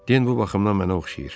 Den bu baxımdan mənə oxşayır.